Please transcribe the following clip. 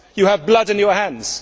You have blood on your hands.